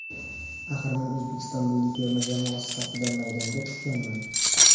Axir men O‘zbekiston milliy terma jamoasi safida maydonga tushganman”.